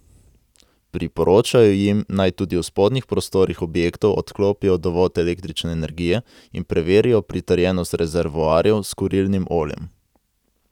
Priporočajo jim, naj tudi v spodnjih prostorih objektov odklopijo dovod električne energije in preverijo pritrjenost rezervoarjev s kurilnim oljem.